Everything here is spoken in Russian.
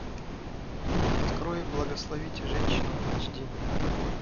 открой благословите женщину айч ди